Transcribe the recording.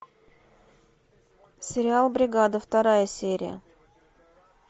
сериал бригада вторая серия